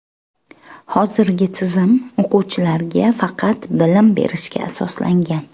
Hozirgi tizim o‘quvchilarga faqat bilim berishga asoslangan.